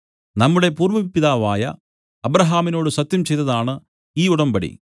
നമ്മുടെ പൂർവ്വപിതാവായ അബ്രാഹാമിനോട് സത്യം ചെയ്തതാണു ഈ ഉടമ്പടി